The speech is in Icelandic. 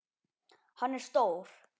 Hann er stór.